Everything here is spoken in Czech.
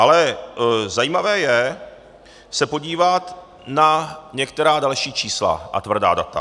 Ale zajímavé je se podívat na některá další čísla a tvrdá data.